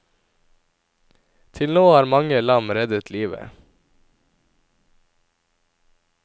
Til nå har mange lam reddet livet.